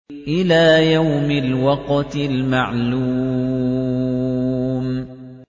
إِلَىٰ يَوْمِ الْوَقْتِ الْمَعْلُومِ